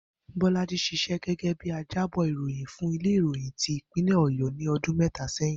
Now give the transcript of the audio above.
Bó̩lájì s̩is̩é̩ gé̩gé̩ bí ajábò̩ ìròyìn fún ilé ìròyìn ti ìpínlè̩ Ò̩yó̩ ní o̩dún mé̩ta sé̩yìn